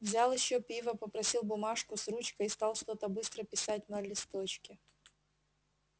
взял ещё пива попросил бумажку с ручкой и стал что-то быстро писать на листочке